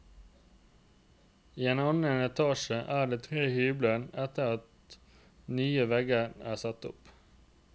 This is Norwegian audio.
I annen etasje er det tre hybler etter at nye vegger er satt opp.